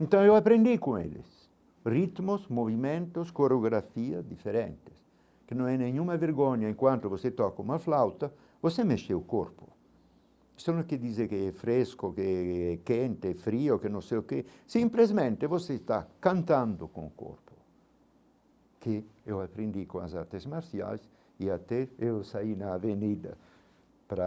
Então eu aprendi com eles ritmos, movimentos, coreografia diferentes que não é nenhuma vergonha enquanto você toca uma flauta você mexer o corpo isso não quer dizer que é fresco, que é quente, frio, que não sei o que simplesmente você está cantando com o corpo que eu aprendi com as artes marciais e até eu saí na avenida para